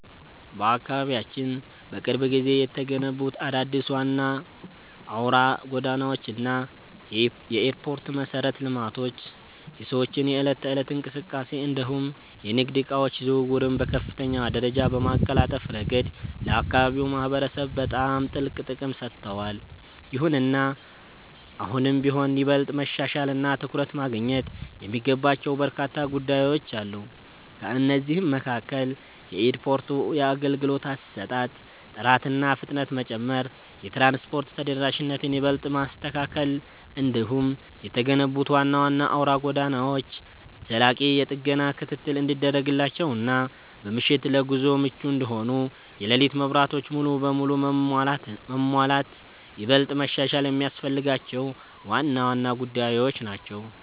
በአካባቢያችን በቅርብ ጊዜ የተገነቡት አዳዲስ ዋና አውራ ጎዳናዎች እና የኤርፖርት መሠረተ ልማቶች የሰዎችን የዕለት ተዕለት እንቅስቃሴ እንዲሁም የንግድ ዕቃዎች ዝውውርን በከፍተኛ ደረጃ በማቀላጠፍ ረገድ ለአካባቢው ማህበረሰብ በጣም ትልቅ ጥቅም ሰጥተዋል። ይሁንና አሁንም ቢሆን ይበልጥ መሻሻልና ትኩረት ማግኘት የሚገባቸው በርካታ ጉዳዮች አሉ። ከእነዚህም መካከል የኤርፖርቱ የአገልግሎት አሰጣጥ ጥራትና ፍጥነት መጨመር፣ የትራንስፖርት ተደራሽነትን ይበልጥ ማስተካከል፣ እንዲሁም የተገነቡት ዋና ዋና አውራ ጎዳናዎች ዘላቂ የጥገና ክትትል እንዲደረግላቸውና በምሽት ለጉዞ ምቹ እንዲሆኑ የሌሊት መብራቶች ሙሉ በሙሉ መሟላት ይበልጥ መሻሻል የሚያስፈልጋቸው ዋና ዋና ጉዳዮች ናቸው።